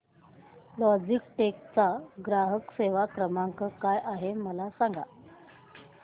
Logitech चा ग्राहक सेवा क्रमांक काय आहे मला सांगा